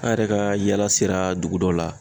An yɛrɛ ka yaala sera dugu dɔ la